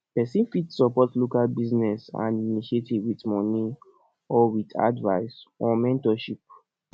persin fit support local business and initiative with money or with advice or mentorship